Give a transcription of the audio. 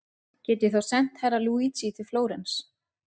Get ég þá sent Herra Luigi til Flórens?